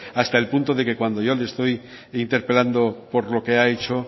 hasta el punto de que cuando yo le estoy interpelando por lo que ha hecho